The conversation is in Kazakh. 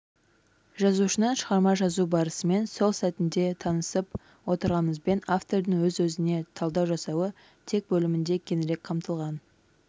жазушының шығарма жазу барысымен сол сәтінде танысып отырғанымызбен автордың өз-өзіне талдау жасауы тек бөлімінде кеңірек қамтылған